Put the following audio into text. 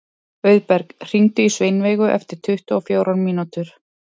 Auðberg, hringdu í Sveinveigu eftir tuttugu og fjórar mínútur.